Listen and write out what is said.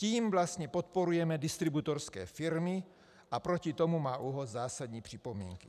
Tím vlastně podporujeme distributorské firmy a proti tomu má ÚOHS zásadní připomínky.